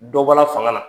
Dɔ bɔla fanga la